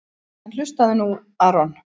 En hlustaðu nú Aron.